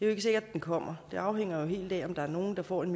er sikkert at den kommer det afhænger jo helt af om der er nogen der får en